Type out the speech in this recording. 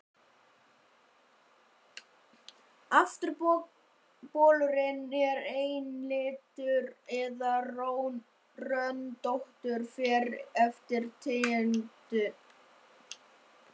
Afturbolurinn er einlitur eða röndóttur, fer eftir tegundum.